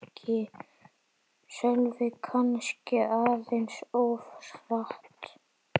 Sölvi: Kannski aðeins of hratt